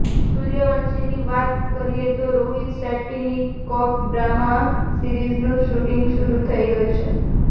સૂર્યવંશીની વાત કરીએ તો રોહિત શેટ્ટીની કોપ ડ્રામા સીરિઝનું શૂટિંગ શરૂ થઈ ગયું છે